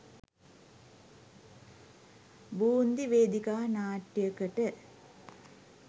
බූන්දි වේදිකා නාට්‍යකට